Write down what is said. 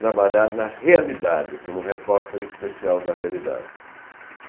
trabalhar na realidade, como repórter especial da realidade.